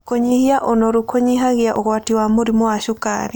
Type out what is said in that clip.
Kũnyĩhĩa ũnorũ kũnyĩhagĩa ũgwatĩ wa mũrĩmũ wa cũkarĩ